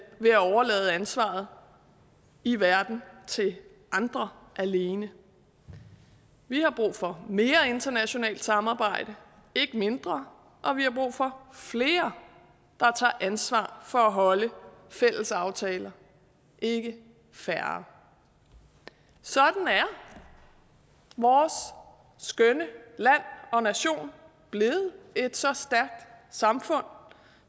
overlade ansvaret i verden til andre alene vi har brug for mere internationalt samarbejde ikke mindre og vi har brug for flere der tager ansvar for at holde fælles aftaler ikke færre sådan er vores skønne land og nation blevet et så stærkt samfund